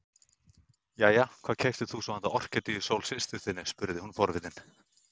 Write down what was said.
Jæja, hvað keyptir þú svo handa Orkídeu Sól systur þinni spurði hún forvitin.